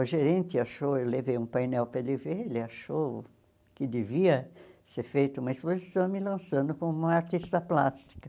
O gerente achou, eu levei um painel para ele ver, ele achou que devia ser feita uma exposição me lançando como uma artista plástica.